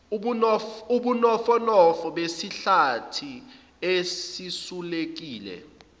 ubunofonofo besihlathi esisulekile